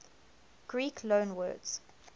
greek loanwords